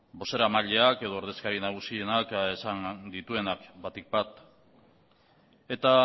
bozeramaileak edo ordezkari nagusienak esan dituenak batik bat eta